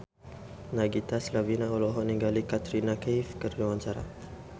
Nagita Slavina olohok ningali Katrina Kaif keur diwawancara